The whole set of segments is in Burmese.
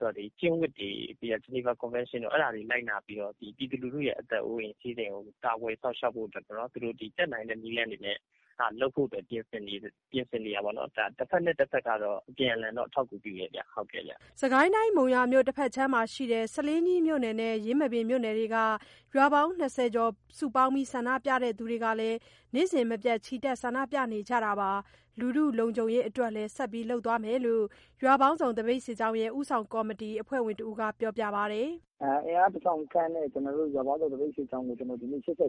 တော့ ပြည်သူတွေရဲ့ အသက် အိုးအိမ်စည်းစိမ်တွေကို ကာကွယ်စောင့်ရှောက်ဖို့ပေါ့ တက်နိုင်တဲ့နည်းလမ်းတွေနဲ့လုပ်ဖို့ ပြင်ဆင်နေတယ်ပေါ့နှော်။ တစ်ဖက်နဲ့ တစ်ဖက်ကတော့ အပြန်အလှန် အထောက်အကူပြုတယ်ဗျ။” စစ်ကိုင်းတိုင်း မုံရွာမြို့တစ်ဖက်ခြမ်းမှာရှိတဲ့ ဆားလင်းကြီးမြို့နယ်နဲ့ ယင်းမာပင်မြို့နယ်တို့က ရွာပေါင်း ၂၀ ကျော်စုပေါင်းတဲ့ ဆန္ဒပြသူတွေကလည်း နေ့စဉ် မပြတ်ချီတက် ဆန္ဒပြနေကြပါတယ်။ လူထုလုံခြုံရေးအတွက်လည်း ဆက်လက်လုပ်သွားမယ်လို့ ရွာပေါင်းစုံသပိတ်စစ်ကြောင်းရဲ့ ဦးဆောင်ကော်မတီ အဖွဲ့ဝင်တစ်ဦးက ပြောပါတယ်။ “အင်အား ၁၀၀၀ ခန့်နဲ့ ရွာပေါင်းစုံသပိတ်စစ်ကြောင်းတွေ ဒီနေ့ ၈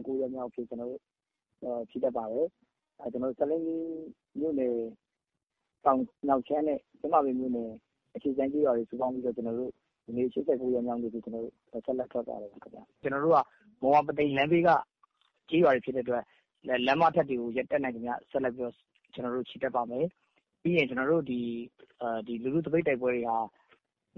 ၉ ရက်မြောက်အဖြစ် ချီတက်ပါတယ်။ ဒါက ဆားလင်းကြီးမြို့နယ် မြောက်ခြမ်းနဲ့ ယင်းမာပင်မြို့နယ် အရှေ့ခြမ်းတို့ စုပေါင်းပြီးတော့ ဒီနေ့ ၈၉ ရက်မြောက်နေ့အဖြစ် ထွက်ပါတယ်ခင်ဗျ။ ကျွန်တော်တို့က မုံရွာ ပုသိမ်လမ်းဘေးက ကျေးရွာတွေဖြစ်တဲ့အတွက် လမ်းမထက်တွေကို တတ်နိုင်သမျှဆက်ပြီးတော့ ချီတက်ပါမယ်။ ပြီးရင် ကျွန်တော်တို့ လူထုသပိတ်တိုက်ပွဲတွေဟာ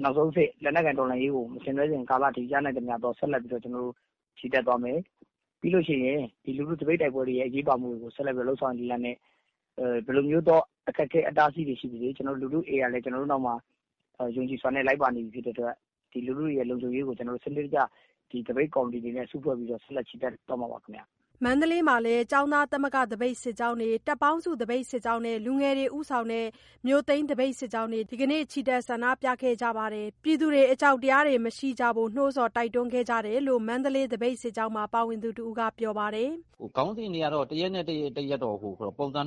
နောက်ဆုံးအဆင့် လက်နက်ကိုင်တိုက်ပွဲတွေကို ဆင်နွဲကြခင်ကာကအထိ ကျွန်တော်တို့ ရနိုင်သမျှ ကျွန်တော်တို့ ဆက်လက် ချီတက်သွားမယ်။ ပြီးရင် ဒီလို သပိတ်တိုက်ပွဲတွေရဲ့ အရေးပါမှုတွေကို ဆက်ပြီးလုပ်လို့ရတဲ့ ပုံစံမျိုးစုံနဲ့ ဘယ်လိုမျိုး အခက်အခဲတွေ ရှိပါစေ၊ ကျွန်တော်တို့နောက်မှာ ပြည်သူတွေ ယုံကြည်စွာနဲ့လိုက်ပါနေပြီဖြစ်တဲ့အတွက် ဒီလူထုရဲ့ လုံခြုံရေးကို ကျွန်တော်တို့က စနစ်တကျ သပိတ်ကော်မတီတွေနဲ့ စုဖွဲ့ပြီးတော့ ဆက်လက် ချီတက်သွားမှာပါ ခင်ဗျ။” မန္တလေးမှာလည်း ကျောင်းသားသမဂ္ဂသပိတ်စစ်ကြောင်းတွေ၊ တပ်ပေါင်းစု သပိတ်စစ်ကြောင်းနဲ့ လူငယ်တွေ ဦးဆောင်တဲ့ မြို့သိမ်းသပိတ်စစ်ကြောင်းတွေ ဒီနေ့လည်း ချီတက် ဆန္ဒပြခဲ့ကြပါတယ်။ ပြည်သူတွေ အကြောက်တရား မရှိကြဖို့ နှိုးဆော်တိုက်တွန်းမှုတွေကိုလည်း လုပ်နေကြတယ်လို့ မန္တလေး သပိတ်စစ်ကြောင်းမှာ ပါဝင်သူတစ်ဦးက ပြောပါတယ်။ “ခေါင်းစဉ်တွေကတော့ တစ်ရက်နဲ့တစ်ရက်တော့ မတူဘူးပေါ့။ တစ်ခါတစ်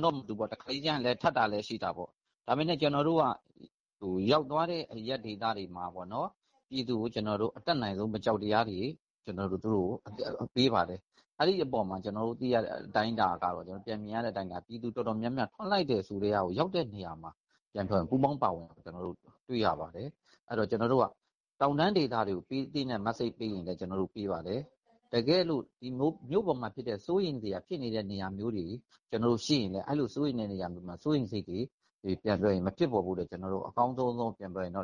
လေကျရင်တော့ ထပ်တာလည်း ရှိတာပေါ့။ ဒါပေမယ့် ကျွန်တော်တို့က ရောက်သွားတဲ့ အရပ်ဒေသတွေမှာပေါ့နှော်၊ အတတ်နိုင်ဆုံး ကျွန်တော်တို့ ပြည်သူတွေကို မကြောက်တရားတွေ ကျွန်တော်တို့ပေးပါတယ်။ အဲ့အပေါ်မှာ ကျွန်တော်ပြန်မြင်ရတာတော့ တော်တော်များများကထွက်လိုက်တယ် ဆိုတည်းကကို ရောက်တဲ့ နေရာမှာ ပူးပေါင်းပါဝင်တာကို တွေ့ရပါတယ်။ အဲ့တော့ ကျွန်တော်တို့က တောင်တန်းဒေသတွေအတွက် ပေးသင့်တဲ့ သတင်းစကားရှိရင်လည်း ပေးပါတယ်။ တကယ်လို့ မြို့ပေါ်မှာ ဖြစ်နေတဲ့ စိုးရိမ်စရာနေရာမျိုးတွေ ရှိရင်လည်း အဲ့လိုနေရာမျိုးမှာ စိုးရိမ်စိတ်တွေ မဖြစ်ပေါ်ဖို့အတွက် အကောင်းဆုံးသော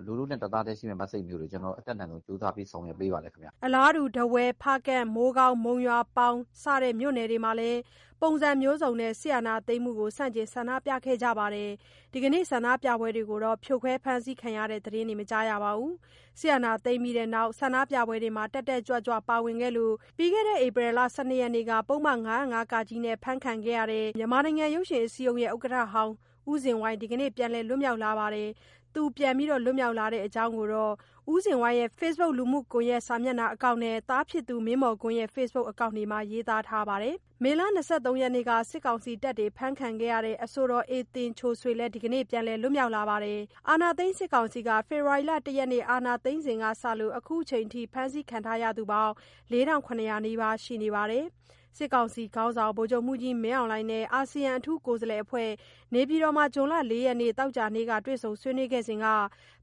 လူထုနဲ့ တစ်သားတည်းရှိနေမယ့် သတင်းစကားမျိုးတွေကို အတတ်နိုင်ဆုံး ကြိုးစားပြီးဆောင်ရွက်ပေးပါတယ်ခင်ဗျ။” ထားဝယ်၊ ဖားကန့်၊ မိုးကောင်း၊မုံရွာ၊ ပေါင်၊ ယင်းမာပင်နဲ့ ဆားလင်းကြီးဒေသတွေမှာလည်း ပုံစံအစုံနဲ့ စစ်အာဏာသိမ်းမှု ဆန့်ကျင် ဆန္ဒပြမှုတွေ ဒီနေ့လုပ်ကြပါတယ်။ ဒီနေ့ ဆန္ဒပြပွဲတွေ ဖြိုခွဲ ဖမ်းဆီးတဲ့ သတင်းတွေတော့ မကြားရပါဘူး။ စစ်အာဏာသိမ်းပြီးနောက် ဆန္ဒပြပွဲတွေမှာ တက်တက်ကြွကြွပါဝင်ခဲ့လို့ ဧပြီလ ၁၂ ရက်နေ့က ပုဒ်မ ၅၀၅ က နဲ့ ဖမ်းဆီးခံရတဲ့ ရုပ်ရှင်အစည်းအရုံး ဥက္ကဋ္ဌဟောင်း ဇင်ဝိုင်း ဒီကနေ့ ပြန်လည်လွတ်မြောက်လာပါတယ်။ သူလွတ်မြောက်တဲ့အကြောင်း ဦးဇင်ဝိုင်းရဲ့ FB Acc နဲ့ သားဖြစ်သူ မင်းမော်ကွန်းရဲ့ Fb Acc တို့မှာ ရေးသားထားပါတယ်။ မေလ ၂၃ ရက်နေ့က စစ်ကောင်စီတပ်တွေ ဖမ်းဆီးခဲ့တဲ့ အဆိုတော် အေသင်ချိုဆွေလဲ ဒီကနေ့မှာ ပြန်လည်လွတ်မြောက် လာပါတယ်။ အာဏာသိမ်း စစ်ကောင်စီက ဖေဖော်ဝါရီ ၁ ရက် အာဏာသိမ်းစဉ်ကစလို့ ခုချိန်ထိ ဖမ်းဆီးခံထားရသူ ၄ထောင့် ၇ ရာနီးပါး ရှိနေပါတယ်။ စစ်ကောင်စီခေါင်းဆောင် ဗိုလ်ချုပ်မှုးကြီး မင်းအောင်လှိုင်နဲ့ အာဆီယံ အထူးကိုယ်စားလှယ်တွေ နေပြည်တော်မှာ ဇွန်လ ၄ ရက် သောကြာနေ့က တေ့ွဆုံဆွေးနွေးစဉ်က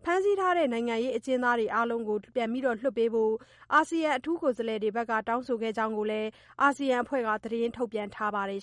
ဖမ်းဆီးထားတဲ့ နိုင်ငံရေးအကျဉ်းသားတွေ အားလုံးကို ပြန်လွတ်ပေးဖို့ အာဆီယံ အထူးကိုယ်စားလှယ်တွေက တောင်းဆိုခဲ့ကြတယ်လို့ အာဆီယံအဖွဲ့က ထုတ်ပြန်ထားပါတယ်